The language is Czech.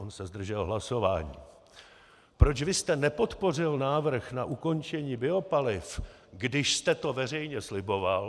- on se zdržel hlasování - Proč vy jste nepodpořil návrh na ukončení biopaliv, když jste to veřejně sliboval?